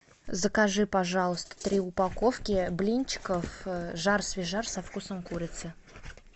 закажи пожалуйста три упаковки блинчиков жар свежар со вкусом курицы